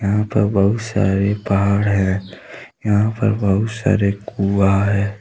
यहां पर बहुत सारे पहाड़ है यहां पर बहुत सारे कुआं है।